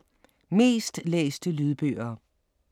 Mest læste lydbøger